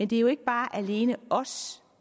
det er jo ikke alene os